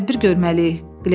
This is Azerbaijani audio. Biz tədbir görməliyik.